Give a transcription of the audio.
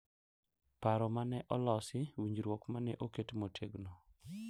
Paro ma ne olosi, winjruok ma ne oket motegno,